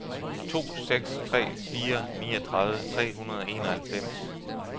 to seks tre fire niogtredive tre hundrede og enoghalvfems